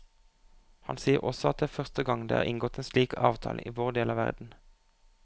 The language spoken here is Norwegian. Han sier også at det er første gang det er inngått en slik avtale i vår del av verden.